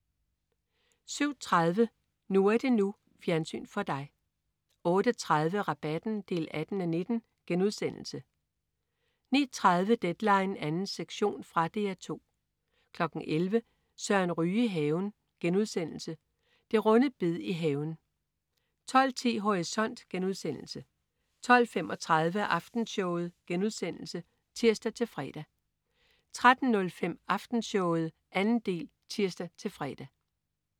07.30 NU er det NU. Fjernsyn for dig 08.30 Rabatten 18:19* 09.30 Deadline 2. sektion. Fra DR 2 11.00 Søren Ryge i haven.* Det runde bed i haven 12.10 Horisont* 12.35 Aftenshowet* (tirs-fre) 13.05 Aftenshowet 2. del (tirs-fre)